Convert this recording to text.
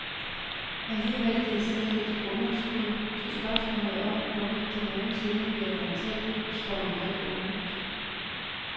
Alligevel giver stedet underskud, så spørgsmålet om, hvorvidt det nogensinde bliver rentabelt, står meget åbent.